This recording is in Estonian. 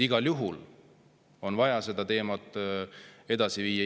Igal juhul on vaja seda teemat edasi viia.